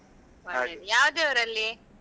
ಹಾ ಯಾವ ದೇವರು ಅಲ್ಲಿ?